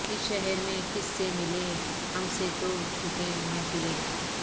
اس شہر میں کس سے ملیں ہم سے تو چھوٹیں محفلیں